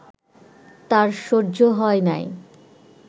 তার সহ্য হয় নাই